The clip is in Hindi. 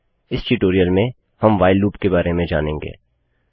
इस ट्यूटोरियल में हम व्हाइल लूप के बारे में जानेंगे